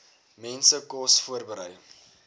mense kos voorberei